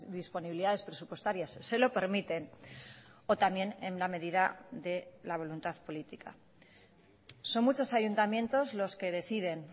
disponibilidades presupuestarias se lo permiten o también en la medida de la voluntad política son muchos ayuntamientos los que deciden